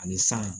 Ani san